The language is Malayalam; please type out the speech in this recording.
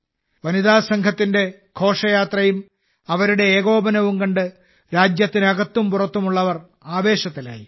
വനിതാസംഘത്തിന്റെ ഘോഷയാത്രയും അവരുടെ ഏകോപനവും കണ്ട് രാജ്യത്തിനകത്തും പുറത്തുമുള്ളവർ ആവേശത്തിലായി